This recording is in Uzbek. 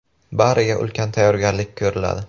Bariga ulkan tayyorgarlik ko‘riladi.